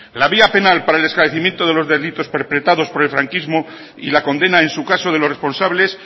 la vía penal para el esclarecimiento de los delitos perpetrados por el franquismo y la condena en su caso de los responsables